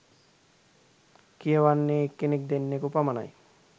කියවන්නෙ එක්කෙනෙක් දෙන්නකු පමණයි